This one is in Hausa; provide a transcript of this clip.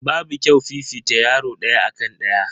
Babu kyau fifita yaro daya akan daya.